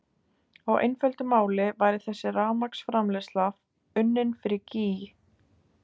Á einföldu máli væri þessi rafmagnsframleiðsla unnin fyrir gýg!